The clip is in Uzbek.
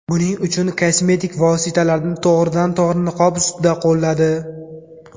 Buning uchun kosmetik vositalarni to‘g‘ridan to‘g‘ri niqob ustida qo‘lladi.